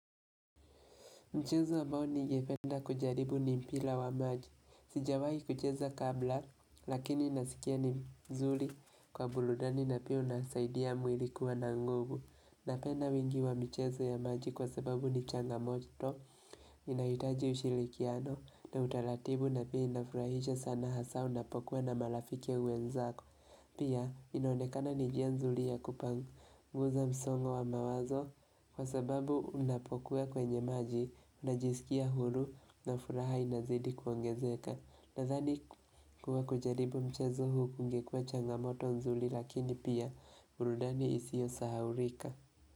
Mchezo ambawlo ningependa kujaribu ni mpira wa maji. Sijawahi kucheza kabla, lakini nasikia ni mzuri kwa burudani na pia unasaidia mwili kuwa na nguvu. Napenda wingi wa michezo ya maji kwa sababu ni changamoto, inahitaji ushirikiano na utaratibu na pia inafurahisha sana hasa unapokuwa na marafiki wenzako. Pia, inaonekana ni njia nzuri ya kupanguza msongo wa mawazo, kwa sababu unapokuwa kwenye maji, unajisikia huru na furaha inazidi kuongezeka. Nadhani kuwa kujaribu mchezo huu kungekuwa changamoto nzuri lakini pia, burudani isiyo sahaulika.